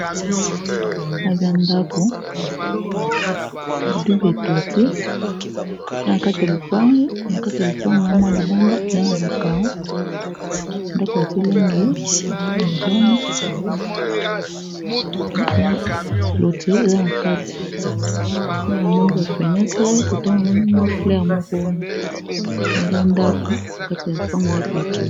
Aza ndako ya double toiture awa nakati ya lupango na mwa libanda eza na ba careaux ndako batie langi ya jaune clôture eza na kati kuna na moni ba fenetre kotewana nga na moni mwa fleur moko wana o aza ndako na kati ya lupango eza clôture.